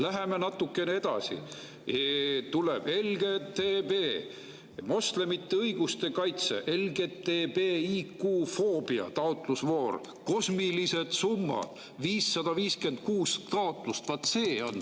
Läheme natukene edasi ja tuleb LGBT ja moslemite õiguste kaitse ning LGBTIQ-foobia taotlusvoor, kus on kosmilised summad ja 556 taotlust.